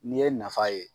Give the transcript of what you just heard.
N'i ye nafa ye